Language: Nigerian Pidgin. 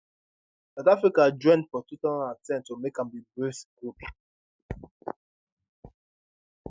south africa join for 2010 to make am di brics group